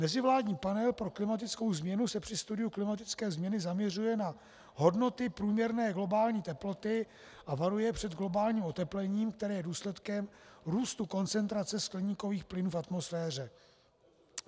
Mezivládní panel pro klimatickou změnu se při studiu klimatické změny zaměřuje na hodnoty průměrné globální teploty a varuje před globálním oteplením, které je důsledkem růstu koncentrace skleníkových plynů v atmosféře.